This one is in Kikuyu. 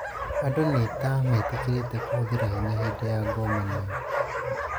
Andũ nĩta metĩkĩrĩtie kũhũthĩra hinya hĩndĩ ya ngomanio